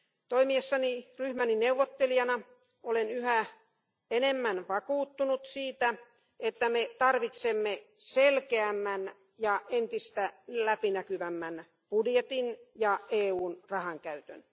Toimiessani ryhmäni neuvottelijana olen yhä enemmän vakuuttunut siitä, että me tarvitsemme selkeämmän ja entistä läpinäkyvämmän budjetin ja EUn rahankäytön.